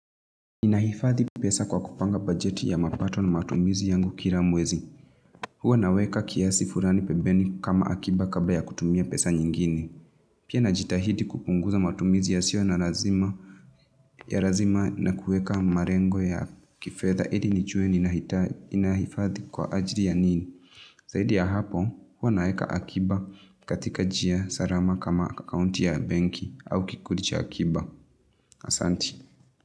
Ninahifadhi pesa kwa kupanga bajeti ya mapato na matumizi yangu kila mwezi. Huwa naweka kiasi fulani pembeni kama akiba kabla ya kutumia pesa nyingine. Pia najitahidi kupunguza matumizi yasio na lazima na kueka malengo ya kifedha ili nijue ninahifadhi kwa ajili ya nini. Zaidi ya hapo, huwa naweka akiba katika njia salama kama akaunti ya benki au kikundi cha akiba. Asanti.